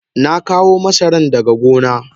Na kawo masaran daga gona.